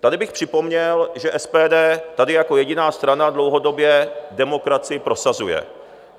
Tady bych připomněl, že SPD tady jako jediná strana dlouhodobě demokracii prosazuje.